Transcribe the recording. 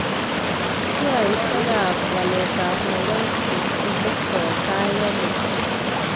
Sheaisiekap waletap Nairobi stock kotestotai aino